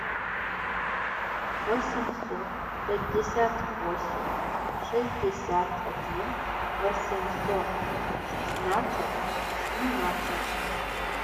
восемьсот пятьдесят восемь шестьдесят один восемьсот шестнадцать семнадцать